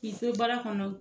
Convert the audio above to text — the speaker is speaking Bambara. Ki to baara kɔnɔ